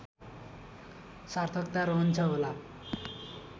सार्थकता रहन्छ होला